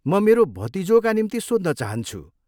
म मेरो भतिजोका निम्ति सोध्न चाहन्छु।